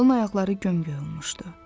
Yalın ayaqları gömgöy olmuşdu.